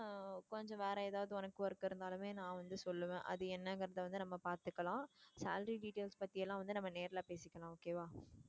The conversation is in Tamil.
கொஞ்சம் வேற ஏதாவது உனக்கு work இருந்தாலுமே நான் வந்து சொல்லுவேன் அது என்னங்கிறத வந்து நம்ம பாத்துக்கலாம் salary details பத்தியெல்லாம் வந்து நம்ம நேர்ல பேசிக்கலாம் okay வா.